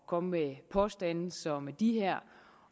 komme med påstande som de her